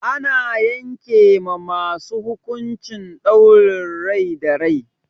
Ana yanke ma wasu hukuncin ɗaurin rai da rai.